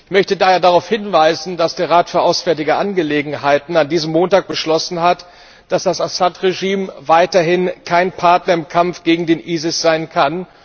Ich möchte daher darauf hinweisen, dass der Rat für Auswärtige Angelegenheiten diesen Montag beschlossen hat, dass das Assad Regime weiterhin kein Partner im Kampf gegen den ISIS sein kann.